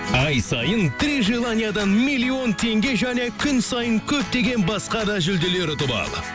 ай сайын три желаниядан миллион теңге және күн сайын көптеген басқа да жүлделер ұтып ал